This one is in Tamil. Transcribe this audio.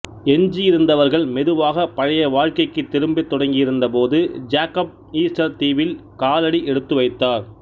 எஞ்சியிருந்தவர்கள் மெதுவாக பழைய வாழ்க்கைக்கு திரும்பத்தொடங்கியிருந்த போது ஜேக்கப் ஈஸ்டர் தீவில் காலடி எடுத்துவைத்தார்